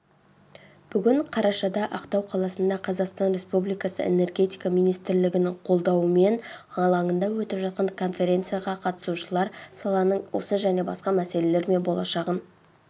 бүгін қарашада ақтау қаласында қазақстан республикасы энергетика министрлігінің қолдауымен алаңында өтіп жатқан конференцияға қатысушылар саланың осы және басқа мәселелері мен болашағын